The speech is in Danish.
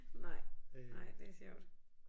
Nej nej det er sjovt